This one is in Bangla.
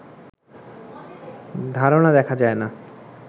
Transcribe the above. ধারণা দেখা যায় না